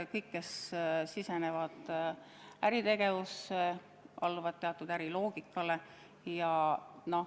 Kõik, kes sisenevad äritegevusse, alluvad teatud äriloogikale.